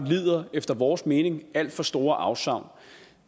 efter vores mening lider alt for store afsavn